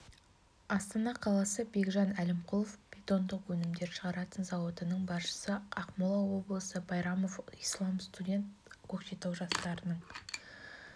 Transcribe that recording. астана қаласы бекжан әлімқұлов бетондық өнімдер шығаратын зауытының басшысы ақмола облысы байрамов ислам студент көкшетау жастарының